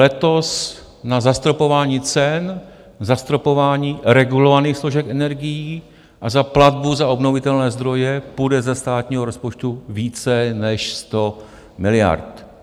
Letos na zastropování cen, zastropování regulovaných složek energií a za platbu za obnovitelné zdroje, půjde ze státního rozpočtu více než 100 miliard.